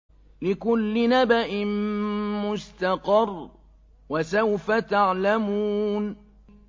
لِّكُلِّ نَبَإٍ مُّسْتَقَرٌّ ۚ وَسَوْفَ تَعْلَمُونَ